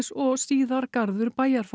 og síðar garður